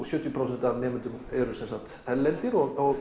sjötíu prósent af nemendum eru erlendir og